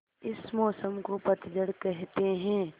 इस मौसम को पतझड़ कहते हैं